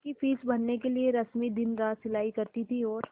उसकी फीस भरने के लिए रश्मि दिनरात सिलाई करती थी और